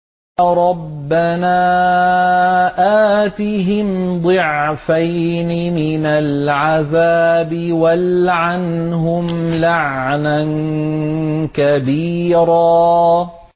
رَبَّنَا آتِهِمْ ضِعْفَيْنِ مِنَ الْعَذَابِ وَالْعَنْهُمْ لَعْنًا كَبِيرًا